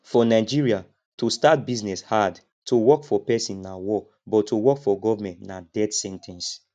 for nigeria to start business hard to work for person na war but to work for government na death sen ten ce